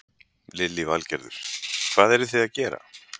Lillý Valgerður: Hvað eru þið að gera?